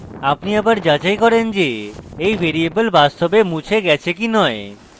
আপনি আবার যাচাই করেন যে এই ভ্যারিয়েবল বাস্তবে মুছে গেছে কি নয়